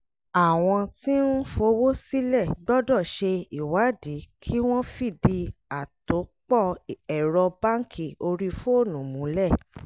àwọn tí ń fowó sílẹ̀ gbọ́dọ̀ ṣe ìwádìí kí wọ́n fìdí àtòpọ̀ ẹ̀rọ báńkì orí fóònù múlẹ̀